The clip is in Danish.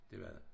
Det var det